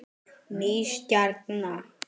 Ný stjarna